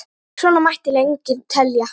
Svona mætti lengi telja.